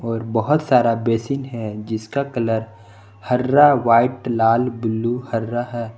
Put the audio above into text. और बहुत सारा बेसिन है जिसका कलर हरा व्हाइट लाल ब्लू हरा है।